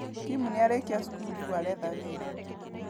Kim narĩkia cukuru rĩu aretha wĩra.